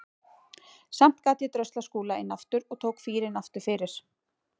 Samt gat ég dröslað Skúla inn aftur og tók fýrinn aftur fyrir.